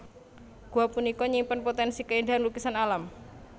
Gua punika nyimpen potensi kaéndahan lukisan alam